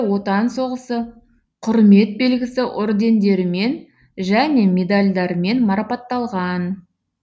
отан соғысы құрмет белгісі ордендерімен және медальдармен марапатталған